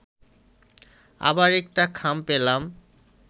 আবার একটা খাম পেলাম